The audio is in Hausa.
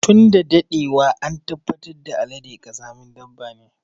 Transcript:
Tun da daɗewa an tabbatar da Alade ƙazamin dabba ne.